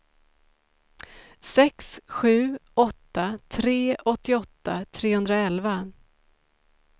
sex sju åtta tre åttioåtta trehundraelva